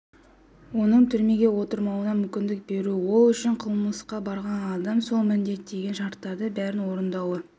оның түрмеге отырмауына мүмкіндік беру ол үшін қылмысқа барған адам сот міндеттеген шарттардың бәрін орындауы